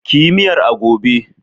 Ki yi miyar a gobe!